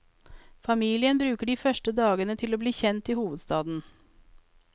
Familien bruker de første dagene til å bli kjent i hovedstaden.